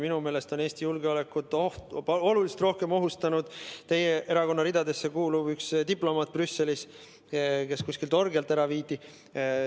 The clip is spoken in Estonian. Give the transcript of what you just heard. Minu meelest on Eesti julgeolekut oluliselt rohkem ohustanud teie erakonna ridadesse kuuluv diplomaat, kes Brüsselis kuskilt orgialt ära viidi.